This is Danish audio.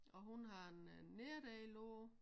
Og hun har en nederdel på